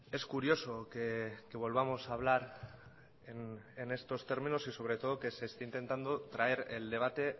es curioso que volvamos a hablar en estos términos y sobre todo que se esté intentando traer el debate